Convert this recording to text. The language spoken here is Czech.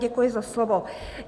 Děkuji za slovo.